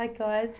Ai, que ótimo.